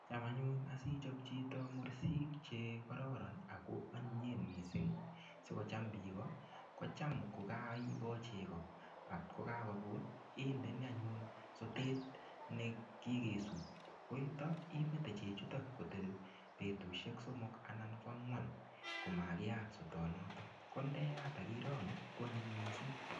Cham anyun asichob chito mursik chekororon ak ko anyinyen mising sikocham biik kocham ko kaibo cheko kot ko kakokut indoi anyun sotet nekikesut, akitio imete chechuton kotebi betushek soomok anan ko angwan komakiat soto noton, ko ndeyat ak irongu kwonyiny mising.